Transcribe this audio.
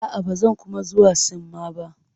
A'a, ba zan kuma zuwa sinmma ba.